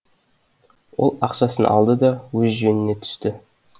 ол ақшасын алды да өз жөніне түсті